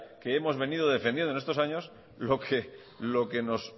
que hemos venimos defendiendo en estos años lo que